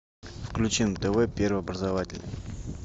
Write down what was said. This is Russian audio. включи на тв первый образовательный